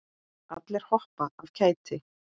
Allir hoppa af kæti.